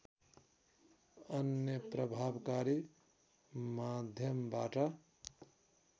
अन्य प्रभावकारी माध्यमबाट